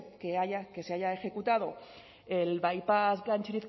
que se haya ejecutado el baipás